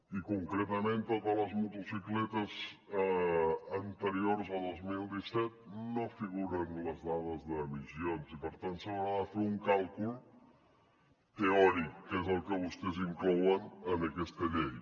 i concretament a totes les motocicletes anteriors a dos mil disset no hi figuren les dades d’emissions i per tant s’haurà de fer un càlcul teòric que és el que vostès inclouen en aquesta llei